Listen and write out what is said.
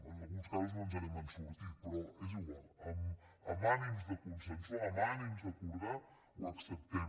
en alguns casos no ens n’hem sortit però és igual amb ànims de consensuar amb ànims d’acordar ho acceptem